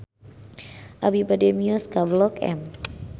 Abi bade mios ka Blok M